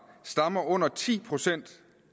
stammer under ti procent